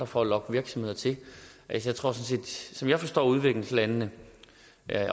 for at lokke virksomheder til som jeg forstår udviklingslandene